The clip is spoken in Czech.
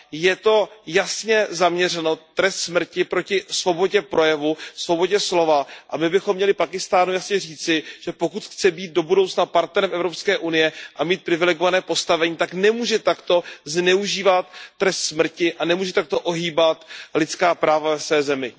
Je to jasně zaměřeno, trest smrti, proti svobodě projevu, svobodě slova a my bychom měli Pákistánu jasně říci, že pokud chce být do budoucna partnerem EU a mít privilegované postavení, tak nemůže takto zneužívat trest smrti a nemůže takto ohýbat lidská práva ve své zemi.